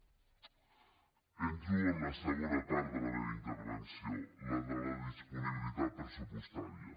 entro en la segona part de la meva intervenció la de la disponibilitat pressupostària